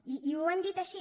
i ho han dit així